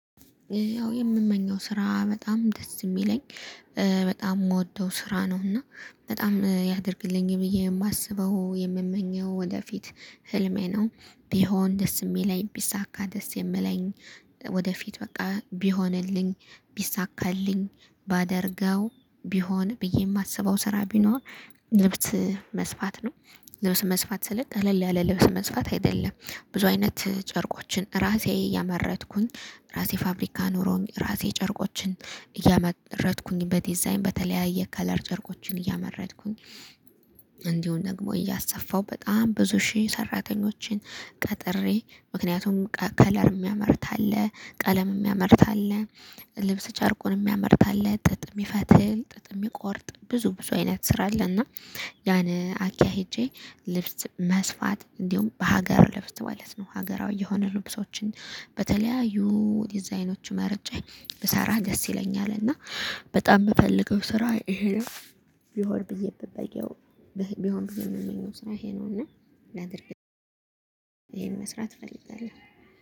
ያው የምመኘው ስራ በጣም ደስ የሚለኝ በጣም የምወደው ስራ ነው። እና በጣም ያድርግልኝ ብዬ የማስበው የምመኘው ወደፊት ህልሜ ነው ቢሆን ደስ የሚለኝ ቢሳካ ደስ የምለኝ። ወደፊት በቃ ቢሆንልኝ ቢሳካልኝ ባደርገው ቢሆን ብዬ የማስበው ስራ ቢኖር ልብስ መስፋት ነው። ልብስ መስፋት ስልክ አለል ያለ ልብስ መስፋት አይደለም። ብዙ አይነት ጨርቆችን ራሴ ያመረጥኩኝ ራሴ ፋብሪካ ኖሮኝ ራሴ ጨርቆችን እያመረጥኩኝ በዲዛይን በተለያየ ከለር ጨርቆችን እያመረጥኩኝ። ደግሞ እያሰፋሁ በጣም ብዙ ሺህ ሰራተኞችን ቀጥሬ ምክንያቱም ከለር የሚያመርት አለ ቀለም የሚያመርት አለ ልብስ ጨርቁን የሚያመርት አለ ጥጥ የሚፈትል ጥጥ የሚቆርጥ ብዙ ብዙ አይነት ስራ አለና። ያን አኪያ ሄጄ ልብስ መስፋት እንዲሁም በሀገር ልብስ ማለት ነው ሀገራዊ የሆኑ ልብሶችን በተለያዩ ዲዛይኖች መርጨ ብሰራ ደስ ይለኛል። እና በጣም ምፈልገው ስራ ይሄ ነው። ቢሆን ብዬ ምመኘው። ቢሆን ቢሆን የሚመኘው ስራ ይሄ ነውና። ላድርግ ይሄን መስራት እፈልጋለሁ